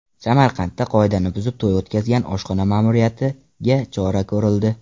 Samarqandda qoidani buzib to‘y o‘tkazgan oshxona ma’muriyatiga chora ko‘rildi.